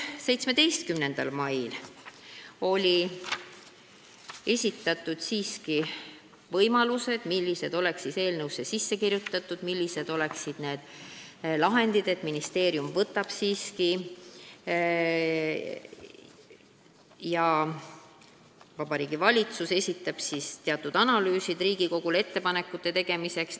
17. maiks aga olid esitatud lahendused, mis võiks eelnõusse sisse kirjutada, ja anti teada, et Vabariigi Valitsus teeb teatud ajaks asjaomased analüüsid Riigikogule ettepanekute tegemiseks.